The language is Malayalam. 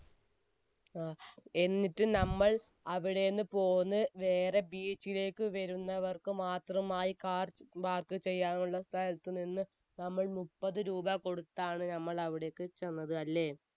ങ്ഹാ. എന്നിട്ട് നമ്മൾ അവിടെ നിന്നും പോന്ന് വേറെ beach ലേക്ക് വരുന്നവർക്ക് മാത്രമായി car park ചെയ്യാനുളള സ്ഥലത്ത് നമ്മൾ~നമ്മൾ മുപ്പത് രൂപ കൊടുത്താണ് നമ്മൾ അവിടേക്ക് ചെന്നത് അല്ലേ?